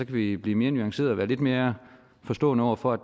vi blive mere nuancerede og være lidt mere forstående over for at